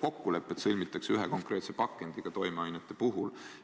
kokkulepped sõlmitakse toimeainete puhul ühe konkreetse pakendi kohta.